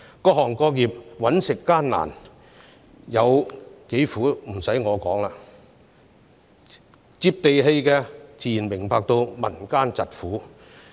各行各業謀生艱難，有多苦已不需由我來說，"接地氣"的自然明白民間疾苦。